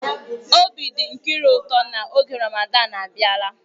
Obi dị Nkiru ụtọ na oge Ramadan abịala.